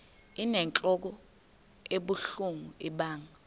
inentlok ebuhlungu ibanga